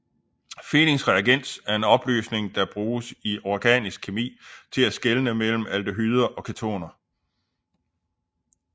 Fehlings reagens er en opløsning der bruges i organisk kemi til at skelne mellem aldehyder og ketoner